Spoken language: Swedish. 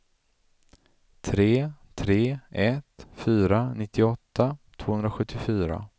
tre tre ett fyra nittioåtta tvåhundrasjuttiofyra